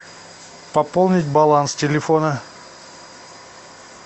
пополнить баланс телефона